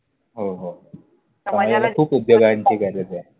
हो हो! समाजाला समाजाला खूप उद्योगांची गरजेय.